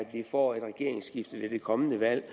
vi får et regeringsskifte ved det kommende valg